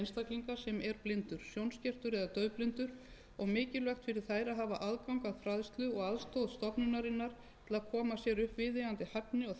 er blindur sjónskertur eða daufblindur og mikilvægt fyrir þær að hafa aðgang að fræðslu og aðstoð stofnunarinnar til að koma sér upp viðeigandi hæfni